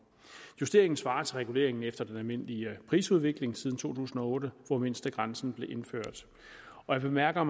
justeringen svarer til reguleringen efter den almindelige prisudvikling siden to tusind og otte hvor mindstegrænsen blev indført jeg bemærker